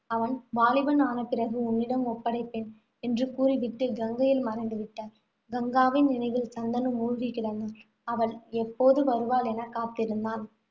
அவன் வாலிபன் ஆன பிறகு உன்னிடம் ஒப்படைப்பேன், என்று கூறி விட்டு கங்கையில் மறைந்து விட்டாள். கங்காவின் நினைவில் சந்தனு மூழ்கி கிடந்தான். அவள் எப்போது வருவாள் என காத்திருந்தான்.